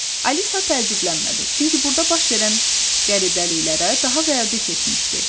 Alisa təəccüblənmədi, çünki burda baş verən qəribəliklərə daha vərdiş etmişdi.